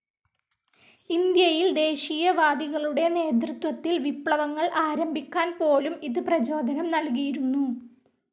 ഇന്ത്യയിൽ ദേശീയവാദികളുടെ നേതൃത്വത്തിൽ വിപ്ലവങ്ങൾ ആരംഭിക്കാൻ പോലും ഇത് പ്രചോദനം നൽകിയിരുന്നു.